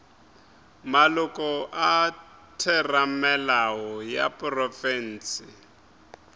maloko a theramelao ya profense